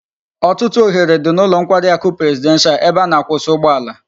Otutu ohere di n'ulo nkwari aku presidential ebe a na-akwusa ugbo ala